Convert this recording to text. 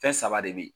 Fɛn saba de be yen